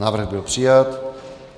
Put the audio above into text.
Návrh byl přijat.